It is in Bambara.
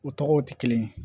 U tɔgɔw tɛ kelen ye